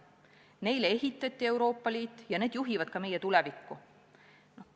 Neile on Euroopa Liit ehitatud ja need juhivad ka meie tulevikku.